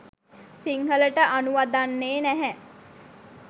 සිංහලට අනුවදන්නේ නැහැ.